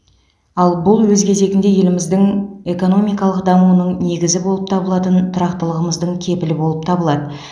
ал бұл өз кезегінде еліміздің экономикалық дамуының негізі болып табылатын тұрақтылығымыздың кепілі болып табылады